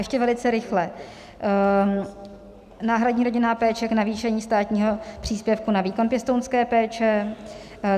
Ještě velice rychle, náhradní rodinná péče k navýšení státního příspěvku na výkon pěstounské péče.